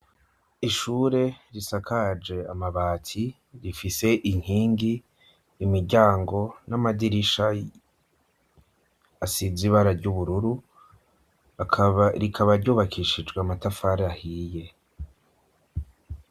Ishure risakaje amabati rifise inkingi imiryango n'amadirisha asize ibara ry'ubururu rikaba ryubakishijwe amatafara ahiye.